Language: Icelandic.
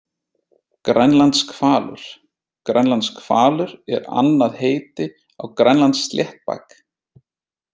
Grænlandshvalur Grænlandshvalur er annað heiti á grænlandssléttbak.